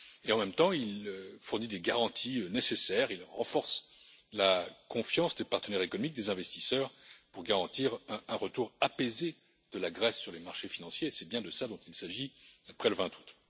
En même temps, il fournit les garanties nécessaires et renforce la confiance des partenaires économiques des investisseurs pour garantir un retour apaisé de la Grèce sur les marchés financiers. C'est bien de cela dont il s'agit après le 20 août.